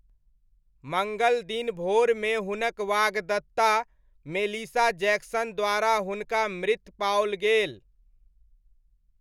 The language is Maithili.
मङ्गल दिन भोरमे हुनक वाग्दत्ता, मेलिसा जैक्सन द्वारा हुनका मृत पाओल गेल।